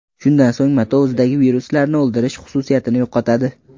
Shundan so‘ng mato o‘zidagi viruslarni o‘ldirish xususiyatini yo‘qotadi.